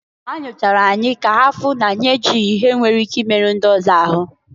Ha nyochara anyị ka ha fụ na anyị ihe nwere ike imeru ndị ọzọ ahụ.